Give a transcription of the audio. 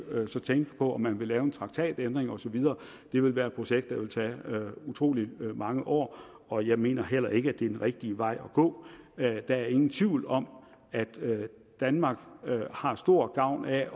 så tænke på om man ville lave en traktatændring og så videre det ville være et projekt der ville tage utrolig mange år og jeg mener heller ikke at det er den rigtige vej at gå der er ingen tvivl om at danmark har stor gavn af